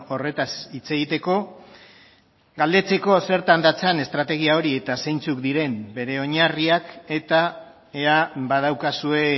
horretaz hitz egiteko galdetzeko zertan datzan estrategia hori eta zeintzuk diren bere oinarriak eta ea badaukazue